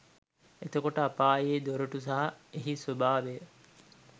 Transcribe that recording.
එතකොට, අපායේ දොරටු සහ එහි ස්වභාවය